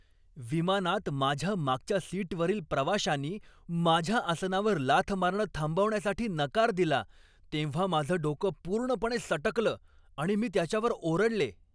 विमानात माझ्या मागच्या सीटवरील प्रवाशानी माझ्या आसनावर लाथ मारणं थांबवण्यासाठी नकार दिला तेव्हा माझं डोकं पूर्णपणे सटकलं आणि मी त्याच्यावर ओरडले.